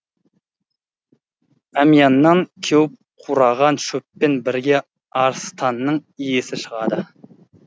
әмияннан кеуіп қураған шөппен бірге арыстанның иісі шығады